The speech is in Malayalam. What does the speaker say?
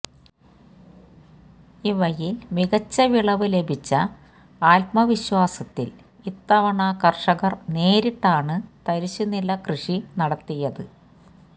ഇവയിൽ മികച്ച വിളവ് ലഭിച്ച ആത്മവിശ്വാസത്തിൽ ഇത്തവണ കർഷകർ നേരിട്ടാണ് തരിശുനില കൃഷി നടത്തിയത്